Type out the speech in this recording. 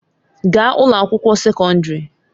Gaa ụlọ akwụkwọ sekọndrị!